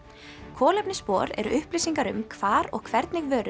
kolefnisspor eru upplýsingar um hvar og hvernig vörur